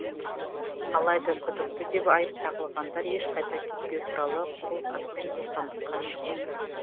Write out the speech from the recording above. алайда күдікті деп айып тағылғандар ешқайда кетпеу туралы қолхатпен бостандыққа шықты